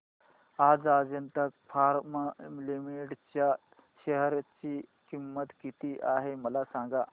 आज Ajanta pharma limited च्या share ची किंमत किती आहे मला सांगा